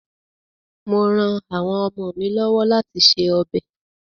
Mò ran àwọn ọmọ mi lọ́wọ́ láti se ọbẹ̀.